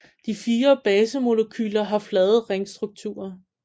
De fire basemolekyler har flade ringstrukturer